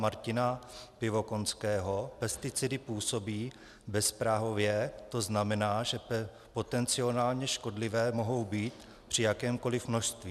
Martina Pivokonského pesticidy působí bezprahově, to znamená, že potenciálně škodlivé mohou být při jakémkoli množství.